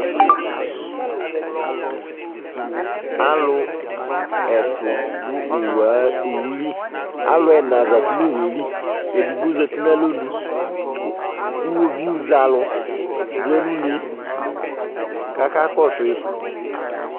Alʋ ɛtʋ dʋ owu a owu li Alʋ ɛna zati nʋ owu yɛ li Edigbo zati nʋ alɔnu kʋ iɣoviu zɛ alʋ vlɛ nʋ une yɛ kʋ akakɔsʋ yɩ